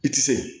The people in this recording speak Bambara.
I ti se